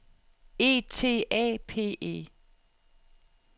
E T A P E